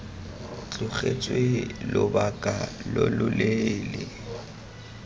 tlogetswe lobaka lo lo leele